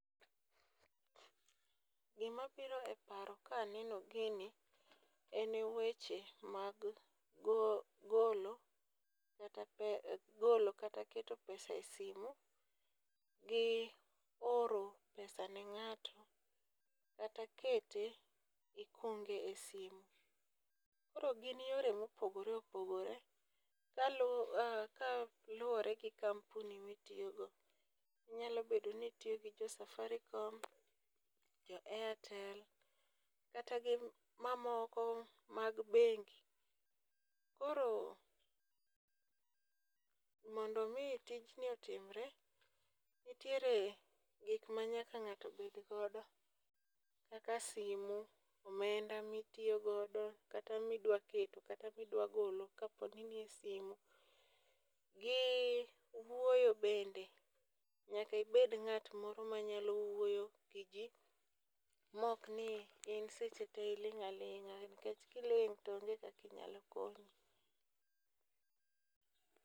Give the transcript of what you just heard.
Gima biro e paro ka aneno gini en weche mag golo kata keto pesa e simu, gi oro pesa ne ng'ato kata kete kionge e simu. Koro gin yore mopogore opogore kaluwore gi kampuni mitiyo go , nyalo bedo ni itiyo gi jo Safaricom, jo Airtel kata gi mamoko mag bengi. Koro mondo mi tijni otimre, nitiere gik ma nyaka ng'ato bed godo kaka simu, omenda ma idwa tiyogo kata midwa keto kata midwa golo kapo ni nie simu gi wuoyo bende, nyaka ibed ng'at moro manyalo wuoyo giji maok ni in seche tee iling' aling'a nikech ka iling' to onge kaka inyalo konyi.